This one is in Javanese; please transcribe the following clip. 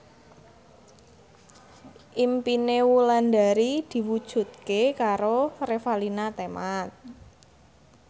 impine Wulandari diwujudke karo Revalina Temat